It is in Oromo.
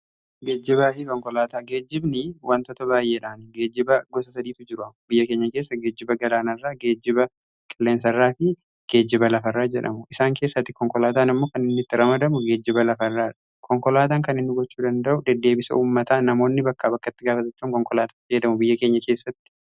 geejjibaafii konkolaataa geejjibni wantoota baay'eedhaan geejiba gosa sadiitu jiru. biyya keenya keessa geejjiba galaana irra geejjiba qilleensarraa fi geejiba lafa irraa jedhamu isaan keessatti konkolaataan ammoo kan inni itti ramadamu geejjiba lafa irraa dha. .konkolaataan kan hin gochuu danda'u deddeebisa uummataa namoonni bakkaa bakkatti qabachuun konkolaataatti jedhamu biyya keenya keessatti